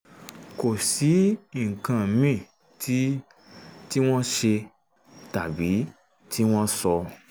kò sí nǹkan míì tí tí wọ́n ṣe tàbí tí wọ́n sọ